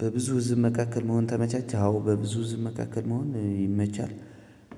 በብዙ ህዝብ መካከል መሆን ተመቻች አዎ በብዙ ህዝብ መካከል መሆን ይመቻል።